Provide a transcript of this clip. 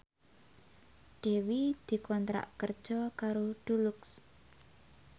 Dewi dikontrak kerja karo Dulux